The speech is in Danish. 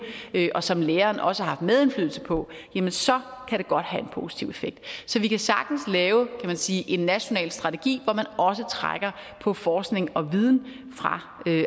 og som læreren også har haft medindflydelse på jamen så kan det godt have en positiv effekt så vi kan sagtens lave kan man sige en national strategi hvor man også trækker på forskning og viden fra